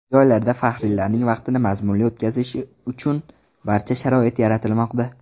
Joylarda faxriylarning vaqtini mazmunli o‘tkazishi uchun barcha sharoit yaratilmoqda.